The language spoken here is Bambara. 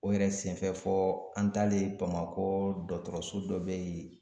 O yɛrɛ senfɛ fɔ an talen Bamakɔ dɔgɔtɔrɔso dɔ be yen.